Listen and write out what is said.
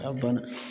A bana